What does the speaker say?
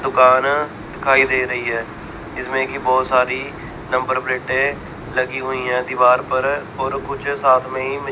दुकान दिखाई दे रही है इसमें की बहोत सारी नंबर प्लेटें लगी हुई है दीवार पर और कुछ साथ में ही--